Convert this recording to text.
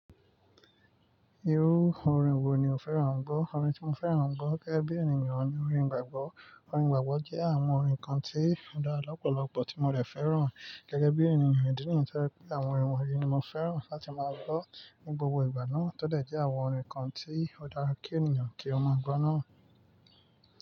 Irú orin wo ni o fẹ́ràn gbọ́? Orin tí mo fẹ́ràn jọ gẹ́gẹ́ bí ènìyàn ni orin gbàgbọ́. Orin gbàgbọ́ jẹ́ àwọn orin kan tí ó dára lọ́pọ̀lọpọ̀ tí mo lè fẹ́ràn gẹ́gẹ́ bí ènìyàn ìdí nìyí. Torí pé àwọn orin wọnyí ni mo fẹ́ràn láti máa gbọ́ ní gbogbo ìgbà náà. Tódẹ̀ jẹ́ àwọn orin kan tí ó dára kí ènìyàn kí ó máa gbọ́ náà.